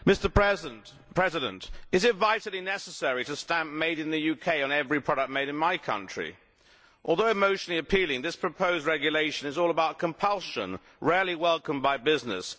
Mr President, is it vitally necessary to stamp made in the UK' on every product made in my country? Although emotionally appealing, this proposed regulation is all about compulsion, rarely welcomed by business.